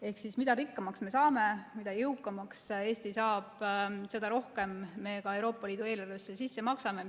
Ehk mida rikkamaks me saame, mida jõukamaks Eesti saab, seda rohkem me Euroopa Liidu eelarvesse sisse maksame.